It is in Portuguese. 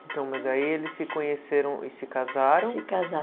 Então, mas aí eles se conheceram e se casaram. Se